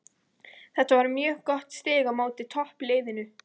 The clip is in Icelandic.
Þetta var mjög gott stig á móti toppliðinu.